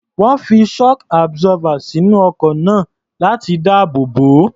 Wọ́n fi shock absorber sínú ọkọ̀ náà láti dáàbò bò ó.